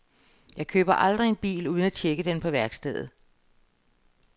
Jeg køber aldrig en bil, uden at tjekke den på værkstedet.